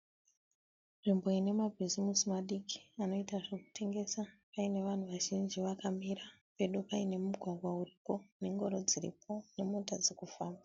Nzvimbo inemabhisisi madiki anoita zvekutengesa. Pane vanhu vazhinji vakamira. Pedo pane mugwagwa uripo, nengoro dziripo, nemota dzirikufamba